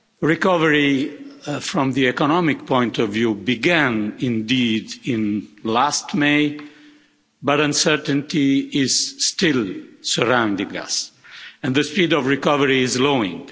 Recovery, from the economic point of view, began indeed last May, but uncertainty is still surrounding us and the speed of recovery is slowing.